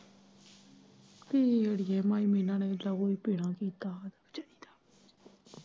ਨੀ ਅੜੀਏ ਮਾਈ ਇਨਾਂ ਨੇ ਬੜਾ ਕੀਤਾ ਵਿਚਾਰੀ ਦਾ।